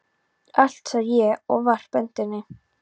Allt, sagði ég og varp öndinni.